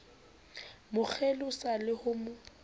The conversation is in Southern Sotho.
mo kgelosa le ho mo